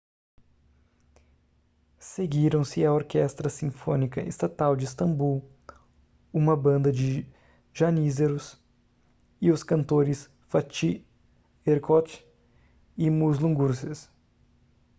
seguiram-se a orquestra sinfônica estatal de istambul uma banda de janízaros e os cantores fatih erkoç e muslum gurses